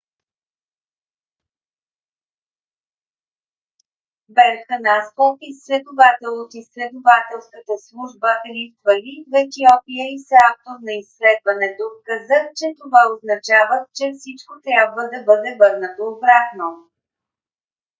берхан асфо изследовател от изследователската служба рифт вали в етиопия и съавтор на изследването каза че това означава че всичко трябва да бъде върнато обратно